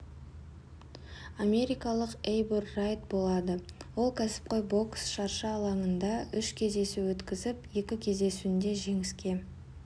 америкалық эйбур райт болады ол кәсіпқой бокс шаршы алаңында үш кездесу өткізіп екі кездесуінде жеңіске